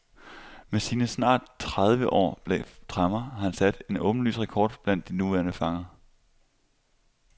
Med sine snart tredieve år bag tremmer har han sat en åbenlys rekord blandt de nuværende fanger.